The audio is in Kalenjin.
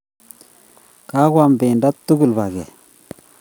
Kagoam pendo tugul paket